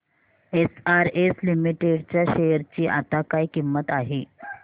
SRS limited च्या share ची आता काय किंमत आहे